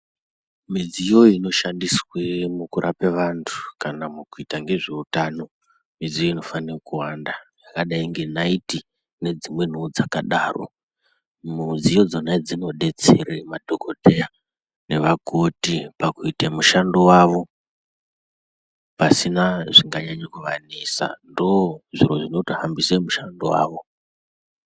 Midziyo inoshandiswa mukurapa vantu kana mukuita ngezveutano zvinofanira kuwanda zvakadai ngenaiti nedzimweniwo dzakadaro. Mudziyo dzonaidzodzo dzinodetsera madhokodheya nevakoti pakuita mishando wavo pasina zvinganyanya kuvanetsa ndozvinotohambisa mushando wavo